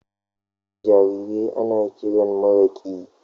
jarirai ana kiran maraƙi.